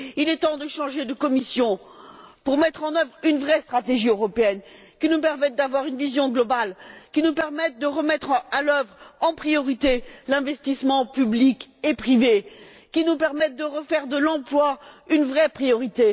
Il est temps de changer de Commission pour mettre en œuvre une vraie stratégie européenne, qui nous permette d'avoir une vision globale, qui nous permettre de relancer, en priorité, l'investissement public et privé, et qui nous permette de refaire de l'emploi une vraie priorité.